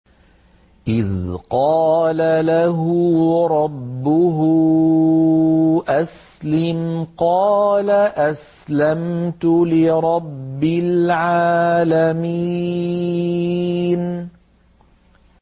إِذْ قَالَ لَهُ رَبُّهُ أَسْلِمْ ۖ قَالَ أَسْلَمْتُ لِرَبِّ الْعَالَمِينَ